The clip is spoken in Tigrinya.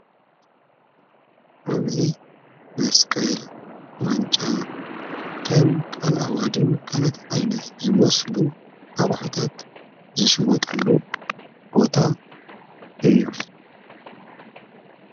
ኣብዙይ መስቀል ዋንጫ ከም ቃልኣዋድን ካለት ኣይነት ዝመስሉ ኣቕሑታት ዝሽወጠሉ ቦታ እዩ::